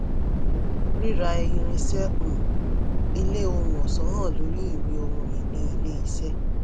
ríra irinṣẹ́ um ilé ohun ọ̀ṣọ́ hàn lórí ìwé ohun-ìní ilé-iṣẹ́.